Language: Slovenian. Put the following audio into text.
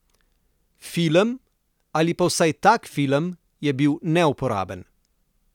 Film, ali pa vsaj tak film, je bil neuporaben!